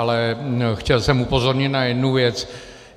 Ale chtěl jsem upozornit na jednu věc.